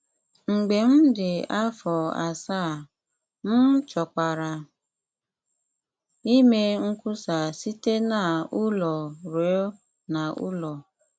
Mgbe m dị afọ asaa, m chọkwara ime nkwusa site n’ụlọ ruo n’ụlọ.